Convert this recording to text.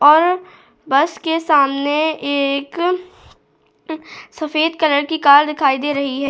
और बस के सामने एक सफेद कलर की कार दिखाई दे रही है।